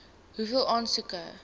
hoeveel aansoeke